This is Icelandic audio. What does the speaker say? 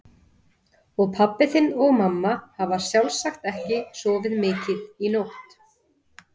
Og pabbi þinn og mamma hafa sjálfsagt ekki sofið mikið í nótt.